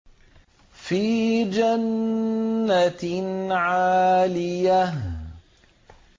فِي جَنَّةٍ عَالِيَةٍ